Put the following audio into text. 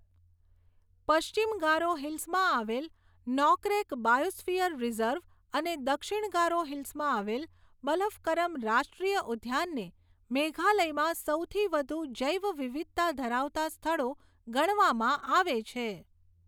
પશ્ચિમ ગારો હિલ્સમાં આવેલ નોકરેક બાયોસ્ફિયર રિઝર્વ અને દક્ષિણ ગારો હિલ્સમાં આવેલ બલફકરમ રાષ્ટ્રીય ઉદ્યાનને મેઘાલયમાં સૌથી વધુ જૈવવિવિધતા ધરાવતા સ્થળો ગણવામાં આવે છે.